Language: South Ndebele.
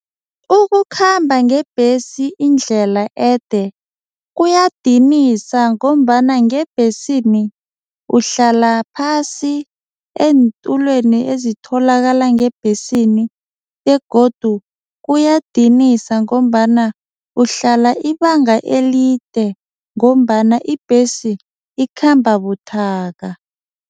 Ukukhamba ngebhesi indlela ede kuyadinisa ngombana ngebhesini uhlala phasi eentulweni ezitholakala ngebhesini begodu kuyadinisa ngombana uhlala ibanga elide ngombana ibhesi ikhamba buthaka.